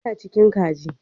Yana cikin kaji